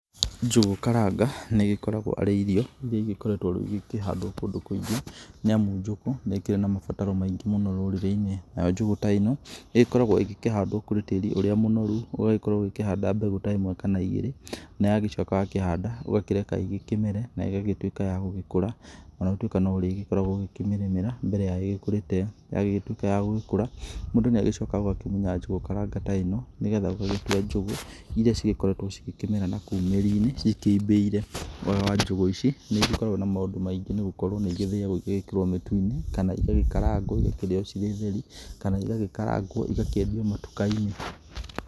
Njũgũ karanga nĩ ĩgĩkoragwo arĩ irio iria igĩkoretwo rĩu ikĩhandwo kũndũ kũingĩ nĩamu njugu nĩ ĩkĩrĩ na mabataro maingĩ rũrĩrĩ-inĩ nayo njũgũ ta ĩno ĩgĩkoragwo ĩkĩhandwo kũrĩ tĩri ũrĩa mũnoru ũgagĩkorwo ũkĩhanda mbegũ ta ĩmwe kana igĩrĩ na wacoka wakĩhanda ũgakĩreka ĩgĩkĩmere na ĩgatuĩka ya gũgĩkũra ona gũtuĩka no ũrĩkoragwo ũkĩmĩrĩmĩra mbere ya ĩgĩkũrĩte, ya gĩtuĩka ya gũgĩkũra mũndũ nĩ acokaga agakĩmunya njugu karanga ĩno nĩgetha ũgagĩtua njugu iria cikorekwo ikĩmera nakũu mĩri-inĩ cikĩimbĩire, wega wa njugu ici nĩ igĩkoragwo na maũndũ maingĩ nĩ gũkorwo nĩ igĩthaagwo igekĩrwo mĩtu-inĩ kana igagĩkaragwo igakĩrĩo ciĩ theri kana igagĩkaragwo igakĩendio matuka-inĩ.